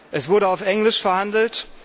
Es wurde auf Englisch verhandelt.